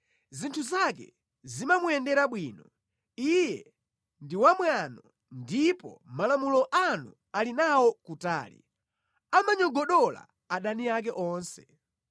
Zinthu zake zimamuyendera bwino; iye ndi wamwano ndipo malamulo anu ali nawo kutali; amanyogodola adani ake onse.